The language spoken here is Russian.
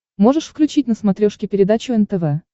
можешь включить на смотрешке передачу нтв